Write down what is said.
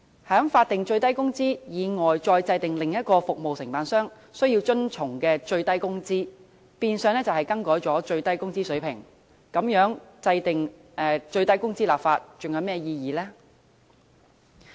在法定最低工資以外再制訂另一個服務承辦商需要遵從的最低工資，變相更改了最低工資水平，那麼立法制訂最低工資還有何意義呢？